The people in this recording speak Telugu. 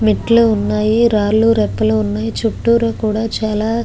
మెట్లు వున్నాయ్ రాళ్ళూ రపల్లు కూడా వున్నాయ్ చూతుర కూడా చాల--